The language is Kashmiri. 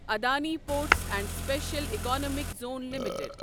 Adani ports and special economic zone limited